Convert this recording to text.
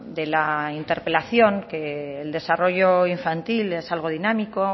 de la interpelación que el desarrollo infantil es algo dinámico